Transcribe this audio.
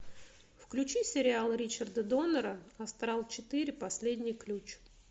включи сериал ричарда доннера астрал четыре последний ключ